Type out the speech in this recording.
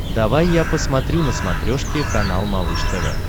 давай я посмотрю на смотрешке канал малыш тв